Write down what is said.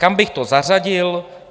Kam bych to zařadil?